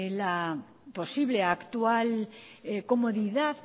la posible actual comodidad